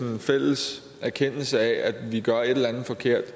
en fælles erkendelse af at vi gør et eller andet forkert